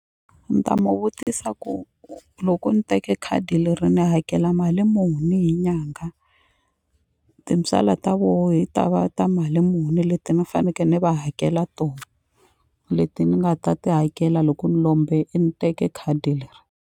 Ni ta mu vutisa ku loko ni teke khadi leri ni hakela mali muni hi nyanga tintswala ta voho hi ta va ta mali muni leti ni faneke ni va hakela to leti ni nga ta ti hakela loko ni lombe ni teke khadi leri.